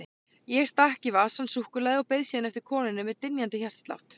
Ég stakk í vasann súkkulaði og beið síðan eftir konunni með dynjandi hjartslátt.